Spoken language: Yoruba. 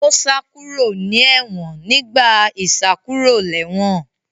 Ó sá kúrò ní ẹ̀wọ̀n nígbà ìsákúròlẹ́wọ̀n